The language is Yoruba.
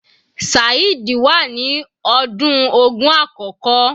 Saheed wà ní ọdún ogún àkókò.